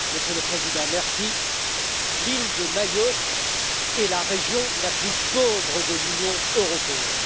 Monsieur le Président, l'île de Mayotte est la région la plus pauvre de l'Union européenne.